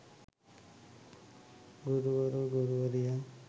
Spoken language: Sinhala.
ගුරුවර ගුරුවරියන්